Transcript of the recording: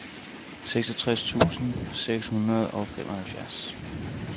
fireogtres tusind seks hundrede og femoghalvfjerds